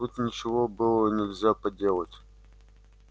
тут ничего было нельзя поделать